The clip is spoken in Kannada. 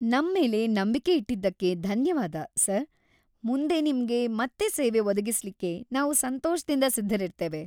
ನಮ್ಮೇಲೆ ನಂಬಿಕೆ ಇಟ್ಟಿದ್ದಕ್ಕೆ ಧನ್ಯವಾದ, ಸರ್. ಮುಂದೆ ನಿಮ್ಗೆ ಮತ್ತೆ ಸೇವೆ ಒದಗಿಸ್ಲಿಕ್ಕೆ ನಾವು ಸಂತೋಷದಿಂದ ಸಿದ್ಧರಿರ್ತೇವೆ.